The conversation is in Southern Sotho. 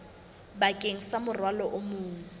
bakeng sa morwalo o mong